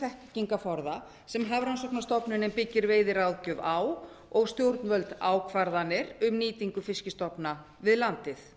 þekkingarforða sem hafrannsóknastofnunin byggir veiðiráðgjöf á og stjórnvöld ákvarðanir um nýtingu fiskstofna við landið